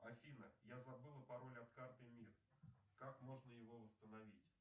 афина я забыла пароль от карты мир как можно его восстановить